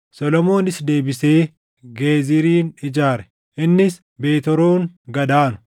Solomoonis deebisee Geezirin ijaare. Innis Beet Horoon gad aanu,